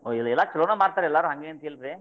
ಎಲ್ಲಾ ಚಲೋನ ಮಾರ್ತಾರ್ರೀ ಎಲ್ಲಾರು ಹಂಗೇತಿಲ್ರಿ.